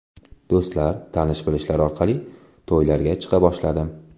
Do‘stlar, tanish bilishlar orqali to‘ylarga chiqa boshladim.